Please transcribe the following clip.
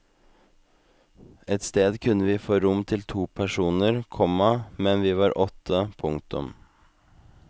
Ett sted kunne vi få rom til to personer, komma men vi var åtte. punktum